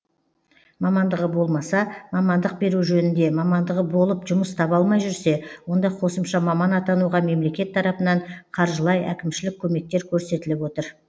мамандығы болмаса мамандық беру жөнінде мамандығы болып жұмыс таба алмай жүрсе онда қосымша маман атануға мемлекет тарапынан қаржылай әкімшілік көмектер көрсетіліп отыр